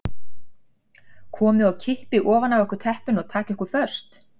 Komi og kippi ofan af okkur teppinu og taki okkur föst.